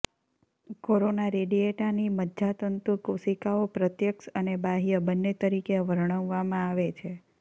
corona રેડિયેટાની મજ્જાતંતુ કોશિકાઓ પ્રત્યક્ષ અને બાહ્ય બંને તરીકે વર્ણવવામાં આવે છે